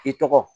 I tɔgɔ